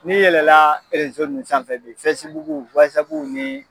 N'i yɛlɛla erezo ninnu sanfɛ bi fesibuku wazabuw ni